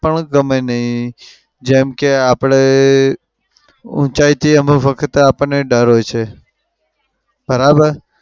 પણ ગમે નઈ. જેમ કે આપણે અમ ઉંચાઈથી અમુક વખત આપણને ડર હોય છે. બરાબર?